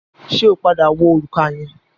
Ṣẹ́ ó padà wọ òrùka yẹn?